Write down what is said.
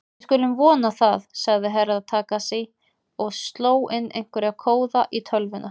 Við skulum vona það, sagði Herra Takashi og sló inn einhverja kóða í tölvuna.